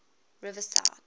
riverside